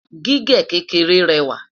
gígé kékeré réwà